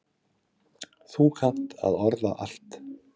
Þú kannt að orða allt.